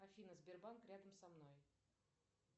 афина сбербанк рядом со мной